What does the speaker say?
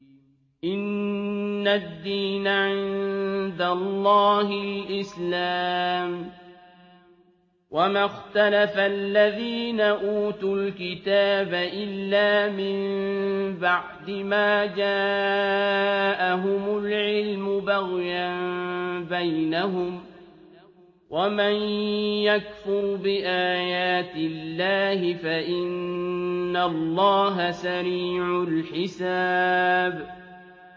إِنَّ الدِّينَ عِندَ اللَّهِ الْإِسْلَامُ ۗ وَمَا اخْتَلَفَ الَّذِينَ أُوتُوا الْكِتَابَ إِلَّا مِن بَعْدِ مَا جَاءَهُمُ الْعِلْمُ بَغْيًا بَيْنَهُمْ ۗ وَمَن يَكْفُرْ بِآيَاتِ اللَّهِ فَإِنَّ اللَّهَ سَرِيعُ الْحِسَابِ